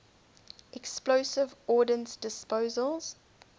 explosive ordnance disposal